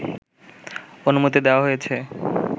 অনুমতি দেওয়া হয়েছে